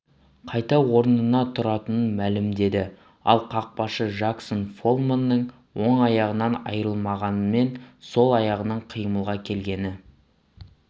қайта орнынан тұратынын мәлімдеді ал қақпашы жаксон фолманның оң аяғынан айрылғанмен сол аяғының қимылға келгені